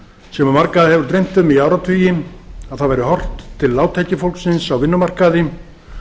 sem marga hefur dreymt um í áratugi að það væri horft til lágtekjufólksins á vinnumarkaði